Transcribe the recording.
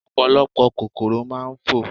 Ọ̀pọ̀lọpọ̀ kòkòrò máa ń fò.